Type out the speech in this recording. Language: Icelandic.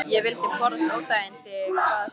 Ég vildi forðast óþægindi hvað sem það kostaði.